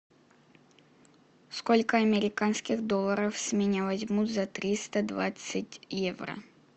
сколько американских долларов с меня возьмут за триста двадцать евро